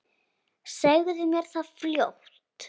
Segðu mér það fljótt.